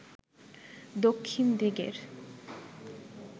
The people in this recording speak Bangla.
দক্ষিণ দিকের